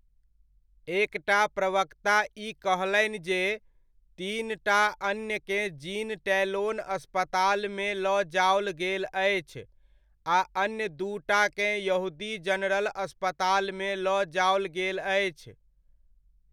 एकटा प्रवक्ता ई कहलनि जे तीनटा अन्यकेँ जीन टैलोन अस्पतालमे लऽ जाओल गेल अछि आ अन्य दूटाकेँ यहूदी जनरल अस्पतालमे लऽ जाओल गेल अछि।